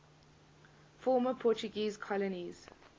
former portuguese colonies